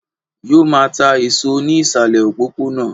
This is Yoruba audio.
Yóò máa ta èso ní ìsàlè òpópónà